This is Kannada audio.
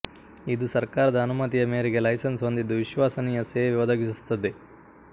ಇದು ಸರ್ಕಾರದ ಅನುಮತಿಯ ಮೇರೆಗೆ ಲೈಸನ್ಸ್ ಹೊಂದಿದ್ದು ವಿಶ್ವಸನೀಯ ಸೇವೆ ಒದಗಿಸುತ್ತದೆ